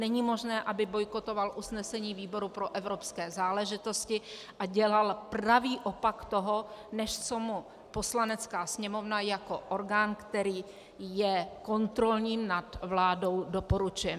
Není možné, aby bojkotoval usnesení výboru pro evropské záležitosti a dělal pravý opak toho, než co mu Poslanecká sněmovna jako orgán, který je kontrolním nad vládou, doporučuje.